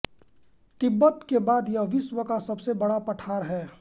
तिब्बत के बाद यह विश्व का सबसे बड़ा पठार है